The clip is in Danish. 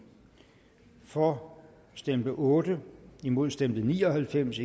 for stemte otte imod stemte ni og halvfems